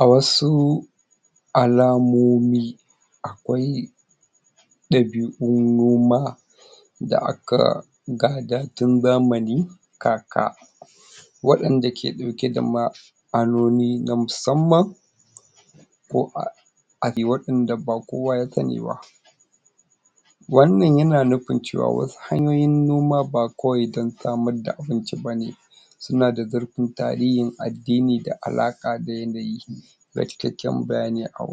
a wasu alamomi akwai ɗabi'u ma da aka gada tun zamani kaka waɗanda ke ɗauke da ma'anoni na musamman koh a waɗanda ba kowa ya sanni ba wannan yana nufin cewa wa hanyoyin noma ba kawai don samar da abinci bane sunada zurfin tarihin addini da ala ƙa da yanayi da cikakken bayani a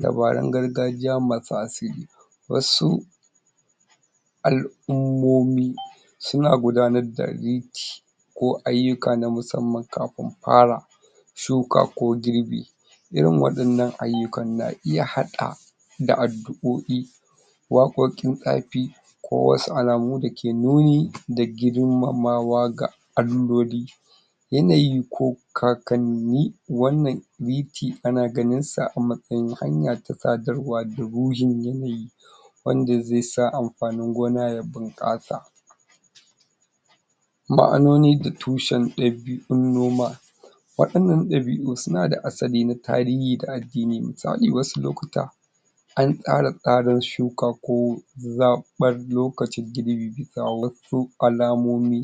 dabarun gargajiya masu asili wasu al'ummomi suna gudanar da ko ayyuka na musamman kafin fara shuka ko girbi irin waɗannan ayyuka na iya haɗa da addu'o'i waƙoƙin tsafi ko wasu alamu da ke nuni da girmamawa ga Alloli yanayi ko kakanni wannan ana ganinsa a matsa.. yin hanya ta tsadarwa da yanayi wanda zai sa amfanin gona ya bunƙasa ma'annoni da tushen ɗabi.. un noma waɗannan ɗabi'u sunada asali na tarihi da addini, misali wasu lokuta an ƙara tsarin shuka ko zaɓan lokacin girbi bisa wa su alamomi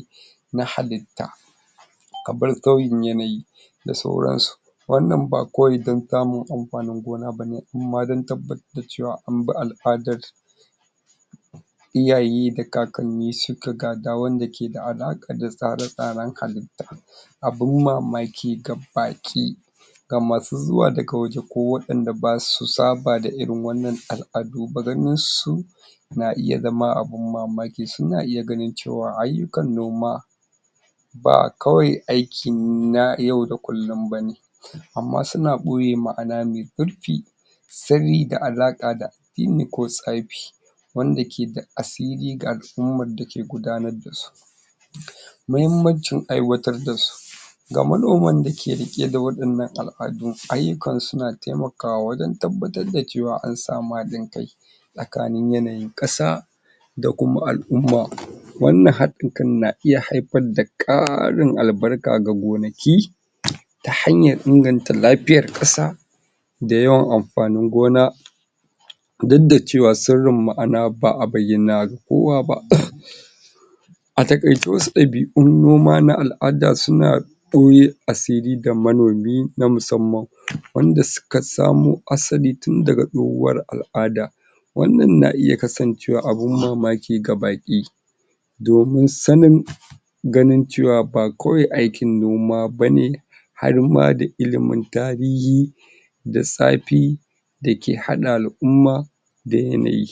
na halitta kamar sauyin yanayi da sauransu wannan ba kawai don samun amfanin gona bane inma don tabbatar da cewa anbi al'adar iyaye da kakanni suka ga da wanda ke da alaƙa da tsare-tsaren halitta abun mamaki ga baƙi ga masu zuwa daga waje ko waɗanda basu saba da irin wannan al'adu ba, ganinsu na iya zama abun mamaki suna iya ganin cewa ayyukan noma ba kawai aikin na yau da kullum bane amma suna ɓoye ma'ana mai ƙarfi sabida alaƙa da yini ko tsafi wanda ke da asali ga umman dake gudanar dasu mahimmancin aiwatar dasu ga manoman dake riƙe da waɗannan al adun, ayyukan suna taima kawa wajen tabbatar da cewa an sami haɗin kai tsakanin yanayin ƙasa da kuma al'umma wannan haɗin kan na iya haifar da ƙarin albarka ga gonaki ta hanyar inganta lafiyar ƙasa da yawan amfanin gona duk da cewa sirrin ma'ana ba'a bayyana ga kowa ba a taƙaice wasu ɗabi un noma na al'ada suna ɓoye asiri ga manomi na musamman wanda suka samo asali tun daga tsohuwar al'ada wannan na iya kasancewa abun mamaki ga baƙi domin sannin ganin cewa ba kawai aikin noma bane harma da ilimin tarihi da tsafi dake haɗa al'umma da yanayi